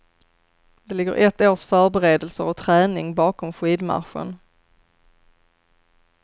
Det ligger ett års förberedelser och träning bakom skidmarschen.